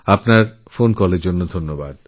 আপনার ফোনেরজন্য ধন্যবাদ